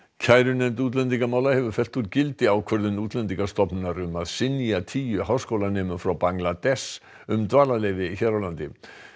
kærunefnd útlendingamála hefur fellt úr gildi ákvörðun Útlendingastofnunar um að synja tíu háskólanemum frá Bangladess um dvalarleyfi hér á landi